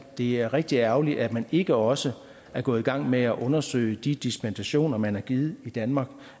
det er rigtig ærgerligt at man ikke også er gået i gang med at undersøge de dispensationer man har givet i danmark